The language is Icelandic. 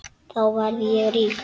Þá verð ég rík.